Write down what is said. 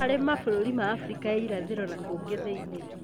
harĩ mabũrũri ma Abirika ya Irathĩro na kũngĩ thĩ-inĩ.